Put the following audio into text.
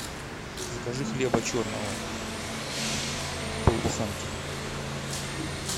закажи хлеба черного пол буханки